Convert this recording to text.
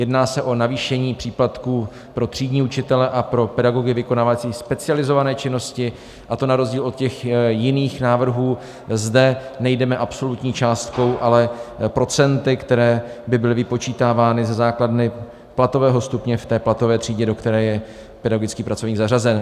Jedná se o navýšení příplatků pro třídní učitele a pro pedagogy vykonávající specializované činnosti, a to na rozdíl od těch jiných návrhů zde nejdeme absolutní částkou, ale procenty, která by byla vypočítávána ze základny platového stupně v té platové třídě, do které je pedagogický pracovník zařazen.